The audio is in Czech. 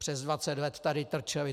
Přes 20 let tady trčeli.